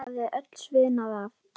Myndin hafði öll sviðnað af.